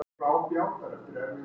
Í staðinn grenjaði ég bara.